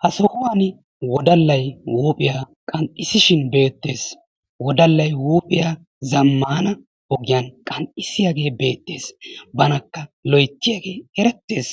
ha sohuwani wodallay huuphiya qanxxissishin beetees. wodallay huuphiya zamaana ogiyan qanxxissiyaagee beetees, banakka loyttiyaagee eretees,